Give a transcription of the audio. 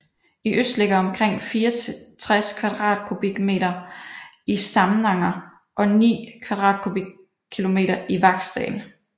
I øst ligger omkring 64 km² i Samnanger og 9 km² i Vaksdal